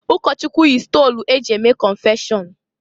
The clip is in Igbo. Ụkọchụkwụ yi stolu e ji eme kọnfeshọn.